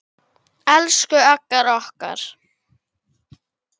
Elsku Agga okkar.